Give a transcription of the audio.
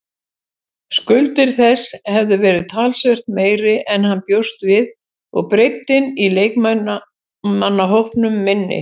Skuldir þess hefðu verið talsvert meiri en hann bjóst við og breiddin í leikmannahópnum minni.